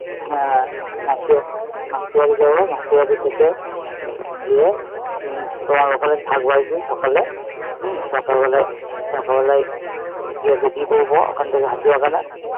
মাসি মাসির বাড়ি যাবো, মাসির বাড়ি থেকে গিয়ে ওখানে থাকবো একদিন সকালে হম সকালবেলায় সকালবেলায় গিয়ে বেরিয়ে পরবো ওখান থেকে হাতিবাগানে